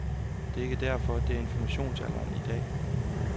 Det er ikke derfor, det er informationsalderen i dag.